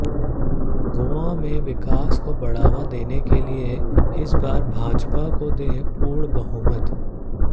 गोवा में विकास को बढ़ावा देने के लिए इस बार भाजपा को दें पूर्ण बहुमत